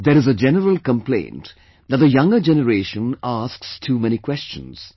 There is a general complaint that the younger generation asks too many questions